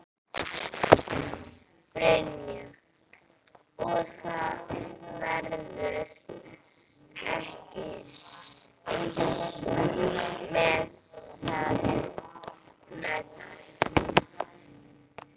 Brynja: Og það verður ekki stigið til baka með það?